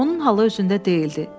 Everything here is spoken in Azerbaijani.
Onun halı özündə deyildi.